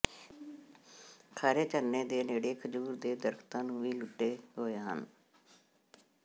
ਖਾਰੇ ਝਰਨੇ ਦੇ ਨੇੜੇ ਖਜੂਰ ਦੇ ਦਰਖ਼ਤਾਂ ਨੂੰ ਵੀ ਲੁੱਟੇ ਹੋਏ ਹਨ